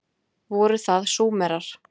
Voru það Súmerar?